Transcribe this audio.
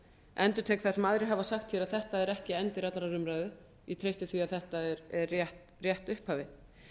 endurtek það sem aðrir hafa sagt hér að þetta er ekki endir allrar umræðu ég treysti því að þetta er rétt upphafið